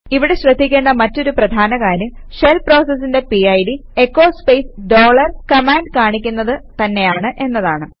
ഇവിടെ ശ്രദ്ധിക്കേണ്ട മറ്റൊരു പ്രധാന കാര്യം ഷെൽ പ്രോസസിന്റെ PID echo space dollar command കാണിക്കുന്നത് തന്നെയാണ് എന്നതാണ്